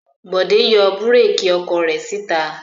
Bọ̀dé yọ búrékì ọkọ̀ rẹ̀ síta.